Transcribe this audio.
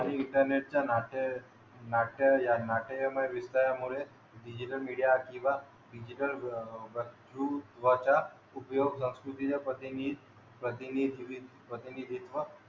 आणि इंटरनेटचे नाते नाट्य या नाट्यमय विस्तारामुळे डिजिटल मीडिया किंवा डिजिटल अह वक्तृत्वाचा उपयोग संस्कृतीच्या पतनी पतनी